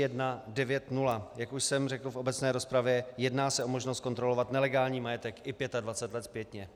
Jak už jsem řekl v obecné rozpravě, jedná se o možnost kontrolovat nelegální majetek i 25 let zpětně.